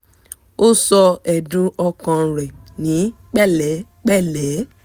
ó sọ ẹ̀dùn ọkàn rẹ̀ ní pẹ̀lẹ́pẹ̀lẹ́